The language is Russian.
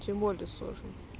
тем более сложным